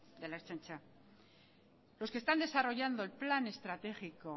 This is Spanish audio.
de la ertzaintza los que están desarrollando el plan estratégico